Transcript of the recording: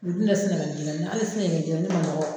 U bɛ na Sɛnɛgali jɛgɛni, hali Sɛnɛgali jɛgɛni man dɔgɔ.